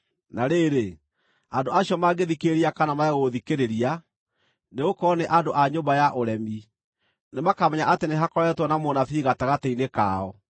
Na rĩrĩ, andũ acio mangĩthikĩrĩria kana marege gũthikĩrĩria, nĩgũkorwo nĩ andũ a nyũmba ya ũremi, nĩmakamenya atĩ nĩhakoretwo na mũnabii gatagatĩ-inĩ kao.